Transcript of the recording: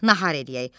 Nahar eləyək.